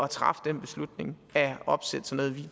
træffe den beslutning at opsætte sådan